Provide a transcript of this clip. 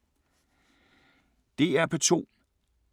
DR P2